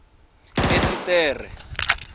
esiṱere